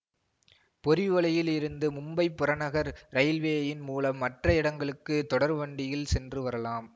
போரிவலியில் இருந்து மும்பை புறநகர் ரயில்வேயின் மூலம் மற்ற இடங்களுக்கு தொடர்வண்டியில் சென்று வரலாம்